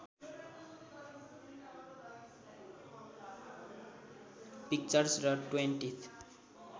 pictures र twentieth